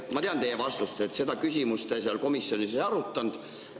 Ma tean teie vastust, et seda küsimust te seal komisjonis ei arutanud.